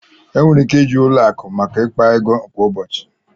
Enwere ike iji ụlọ akụ maka mkpa ego kwa ụbọchị